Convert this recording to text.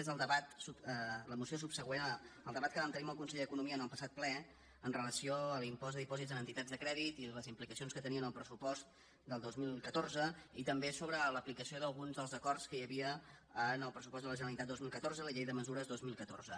és el debat la moció subsegüent al debat que vam tenir amb el conseller d’economia en el passat ple amb relació a l’impost de dipòsits en entitats de crèdit i les implicacions que tenia en el pressupost del dos mil catorze i també sobre l’aplicació d’alguns dels acords que hi havia en el pressupost de la generalitat dos mil catorze la llei de mesures dos mil catorze